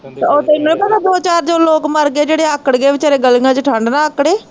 ਓਹ ਤੇਨੂੰ ਨੀ ਪਤਾ ਦੋ ਚਾਰ ਜੋ ਲੋਕ ਮਰਗੇ ਜਿਹੜੇ ਆਕੜ ਗੇ ਵਿਚਾਰੇ ਗਲੀਆਂ ਚ, ਠੰਡ ਨਾਲ਼ ਆਕੜੇ